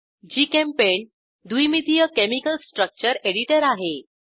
GChemPaint द्विमितीय chemical structure editor आहे